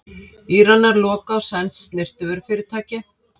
Íranar loka á sænskt snyrtivörufyrirtæki